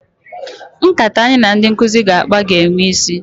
Nkata anyị na ndị nkụzi ga-akpa ga-enwe isi.